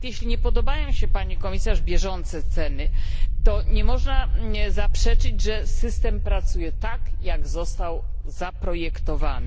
Nawet jeśli nie podobają się pani komisarz bieżące ceny, to nie można zaprzeczyć temu, że system pracuje tak, jak został zaprojektowany.